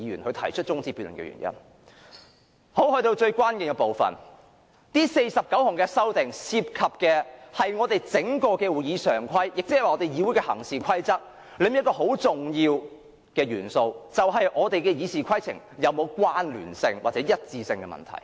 來到最關鍵的部分，這49項修訂涉及我們整套會議常規，亦即我們議會的行事規則中一個很重要的元素，就是我們的《議事規則》是否有關聯或一致的問題。